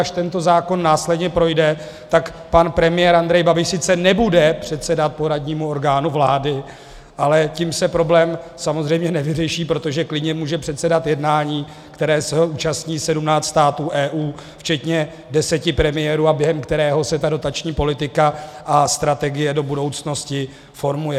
Až tento zákon následně projde, tak pan premiér Andrej Babiš sice nebude předsedat poradnímu orgánu vlády, ale tím se problém samozřejmě nevyřeší, protože klidně může předsedat jednání, kterého se účastní 17 států EU včetně 10 premiérů a během kterého se ta dotační politika a strategie do budoucnosti formuje.